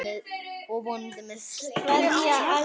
Og vonandi með stórt hjarta.